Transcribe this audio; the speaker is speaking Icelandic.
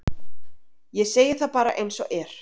Ég segi það bara eins og er.